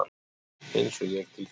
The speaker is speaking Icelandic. Eins og ég til þín?